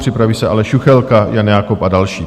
Připraví se Aleš Juchelka, Jan Jakob a další.